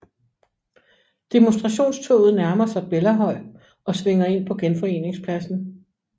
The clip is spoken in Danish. Demonstrationstoget nærmer sig Bellahøj og svinger ind på Genforeningspladsen